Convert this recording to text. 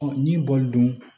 n'i b'olu dun